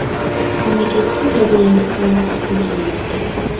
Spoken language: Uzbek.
Mamlakatda jazirama havo hukm surmoqda.